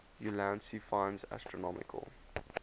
ulansey finds astronomical